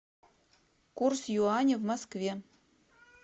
курс юаня в москве